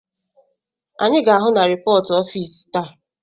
Anyị ga-ahụ na ripọt ọfịs taa.